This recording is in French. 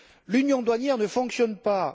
L'Union douanière ne fonctionne pas